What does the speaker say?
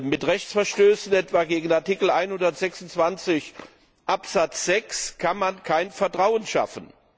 Mit Rechtsverstößen etwa gegen Artikel 126 Absatz 6 kann man kein Vertrauen schaffen.